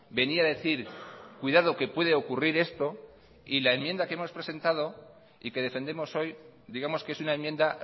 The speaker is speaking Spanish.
venía a decir cuidado que puede ocurrir esto y la enmienda que hemos presentado y que defendemos hoy digamos que es una enmienda